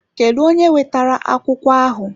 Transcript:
Kedụ onye wetara akwụkwọ ahụ?